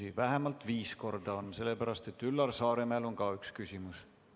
Neid on rohkem vähemalt viis korda, sellepärast et Üllar Saaremäel on ka üks küsimus.